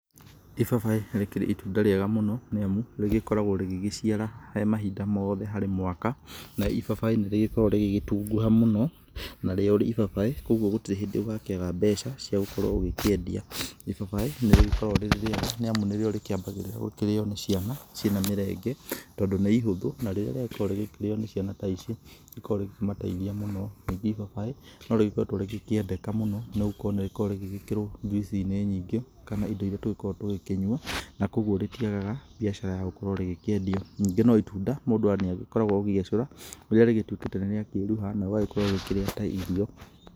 Ibabaĩ nĩ rĩkĩrĩ itunda rĩega mũno nĩ amu rĩgĩkoragwo rĩgĩgĩciara he mahinda mothe harĩ mwaka na ibabaĩ nĩ rĩgĩkoragwo rĩgĩgĩtunguha mũno, narĩo ibabaĩ, kũguo gũtirĩ hĩndĩ ũgakĩaga mbeca cia gũkorwo ũgĩkĩendia. Ibabaĩ nĩ rĩgĩkoragwo rĩrĩ rĩega nĩ amu nĩrĩo rĩkĩambagĩrĩra gũkĩrío nĩ ciana ciĩna mĩrenge tondũ nĩ ihũthũ na rĩrĩa rĩagĩkorwo rĩgĩkĩrĩo nĩ ciana ta ici nĩ rĩkoragwo rĩakĩmateithia mũno. Ningĩ ibabaĩ no rĩgĩkoretwo rĩgĩkĩendeka mũno nĩ gũkorwo nĩ rĩgĩkoragwo rĩgĩkĩrwo juice inĩ nyingĩ kana indo iria tũgĩkoragwo tũgĩkĩnyua, na kũguo rĩtiagaga biacara ya gũkorwo rĩgĩkĩendio. Ningĩ no itunda mũndũ nĩ agĩkoragwo ũkĩgecũra rĩrĩa rĩgĩtuĩkĩte nĩ rĩakĩruha na ũgagĩkorwo ũgakĩrĩa ta irio.